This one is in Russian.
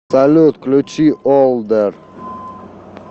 салют включи олдэр